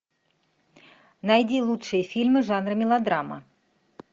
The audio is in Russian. найди лучшие фильмы жанра мелодрама